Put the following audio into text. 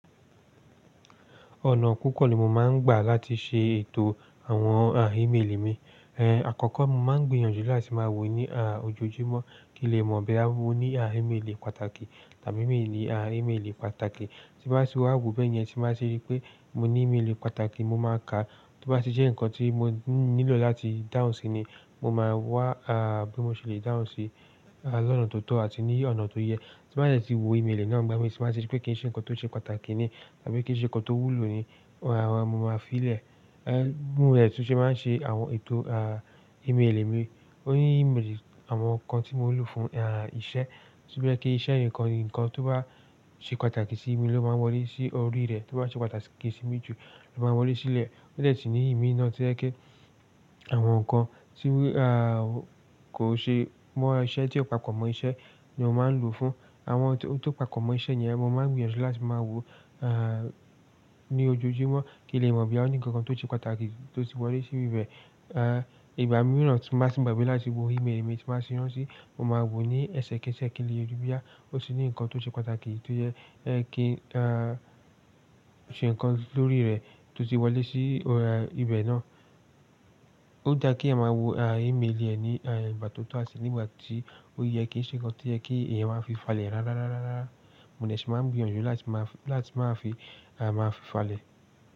Ọ̀nà púpọ̀ ni mo máa ń gbà láti ṣe ètò àwọn àràímélì mi. Ẹ̀, àkọ́kọ́ mo máa ń gbìyànjú láti máa wò ní à, ojoojúmọ́, kí n lè mọ̀ boya mọ ní iméelì pàtàkì tàbí iméèlì, ímeèlì pàtàkì. Tí n bá ti wa wọ bẹ́yẹn, tí n bá ti ri pé mo ní iméèlì pàtàkì mo máa kà. Tó bá ti jẹ́ ǹkan tí mo nílò láti dáhùn sí ni mo máa wá, bí mo ṣe lè dáhùn sí lọ́nà tó tọ́ àti ní ọ̀nà tó yẹ. Tí n ba de ti wo imeeli náà ngbà míi, tí n ba ti ríi pe kii se ǹkan tó ṣe pàtàkì ni àbí kíi se ǹkan tó wúlò ni, mo máa fi i lẹ̀. Bi mo de tun se máa n se àwọn ètò imeeli mi ó ní imélì àwọn kan tí mo ń lò fún ìṣe. Ti kò jẹ́ pé kí iṣẹ́ nǹkan, ǹkan tó bá ṣe pàtàkì sí mi ló máa wọlé sí orí rẹ̀. Tó bá ṣe pàtàkì sí mí jù ló máa wọlé sílẹ̀. Ó dw si ní imi náà to ye pé àwọn ǹkan tí kò ṣe mọ́ iṣẹ́ tí ó pàkọ́ mọ́ iṣẹ́ ni o máa ń lò fún. Àwọn tó pàkọ́ mọ́ iṣẹ́ yẹn ni ẹ ma máa ń gbìyànjú láti máa wò ní ojoojúmọ́ kí n lè mọ̀ boya oní kankan tó ṣe pàtàkì tó ti wọlé sí bibẹ̀. Ìgbà mìíràn tí máa ti gbagbẹ́ láti wo imélì mi tí ba ti rántí mo máa wò ó ní ẹsẹ kéẹsẹ kí n lè rí boya ó ti ní ǹkan tó ṣe pàtàkì tó yẹ kí a ṣe ǹkan lórí rẹ̀ tó ti wọlé sí ibẹ̀ náà. Ó da kí èèyàn má wò imélì ẹ ní ìgbà tó tọ́ àti nígbà tí ó yẹ kí ṣe kankan tí ó yẹ kí ẹ̀yin máa fi falẹ̀ rárá rárá rárá. Mo de ṣe máa ń gbìyànjú láti máa fi, láti máa fi a máa fi falẹ̀.